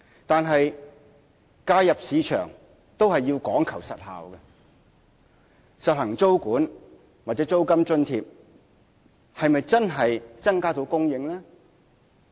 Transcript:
但是，介入市場都要講求實效，實行租管或租金津貼是否真的能增加房屋供應？